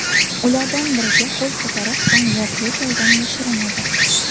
Ulardan biriga qo‘l ko‘tarib, so‘ng voqea joyidan yashirinadi.